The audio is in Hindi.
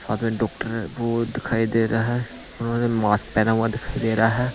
साथ में डॉक्टर वो दिखाई दे रहा है उन्होंने मास्क पहना हुआ दिखाई दे रहा है।